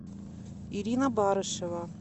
ирина барышева